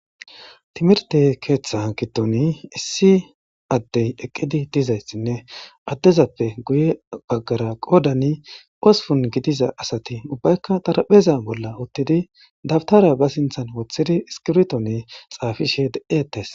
Timirte keeththa kitoni issi addey eqqidi dizayssinne addezappe guye baggara qodani ospun gidiza asati ubbaykka tarapheza bolla uttidi dabtara ba sinthan woththidi iskibtone xaafishe de'etes.